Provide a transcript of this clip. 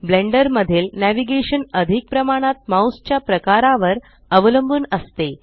blender मधील navigation अधिक प्रमाणात माउस च्या प्रकारावर अवलंबून असते